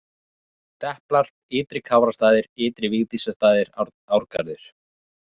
Deplar, Ytri-Kárastaðir, Ytri-Vigdísarstaðir, Árgarður